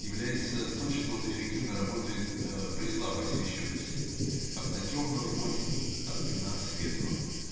является эффективно работает при слабой освещённости как на тёмном фоне так и на светлом